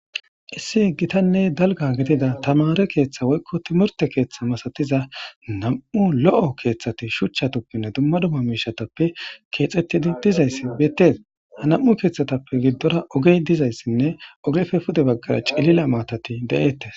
Issi gittanne dalgga gidida tamaare keeththa woykko timirte keeththa misatiza nam7u lo7o keeththati shuchchatuppenne dumma dumma miishshatuppe keexetidayssi beetees. Ha nam7u keeththatappe gidora oge dizayssanne ogeppe pude baggara cilila maatati des.